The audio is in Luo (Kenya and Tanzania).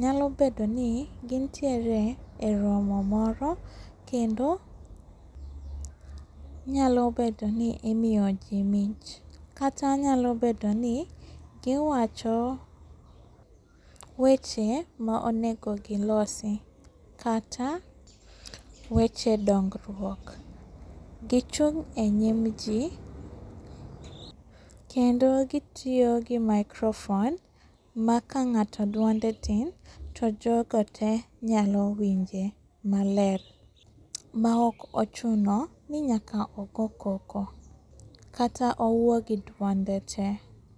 nyalo bedoni gintiere e romo moro kendo nyalo bedoni imiyo jii mich, kata nyalo bedoni giwacho weche ma onego gilosi, kata weche dongruok. Gichung' e nyimjii kendo, gitiyo gi microphone makang'ato duonde tin to jogo te nyalo winje maler maok ochuno ni nyaka ogo koko, kata owuo gi duonde te.